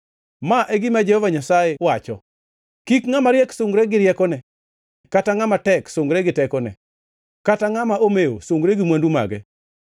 Ma e gima Jehova Nyasaye wacho: “Kik ngʼama riek sungre gi riekone kata ngʼama tek sungre gi tekone, kata ngʼama omewo sungre gi mwandu mage,